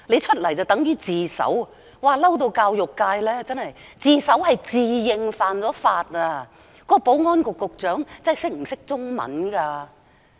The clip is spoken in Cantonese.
所謂自首，是指一個人自認犯了法，究竟保安局局長懂中文嗎？